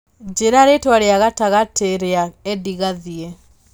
njĩra rĩtwa rĩa gatagatĩrĩa Edie gathie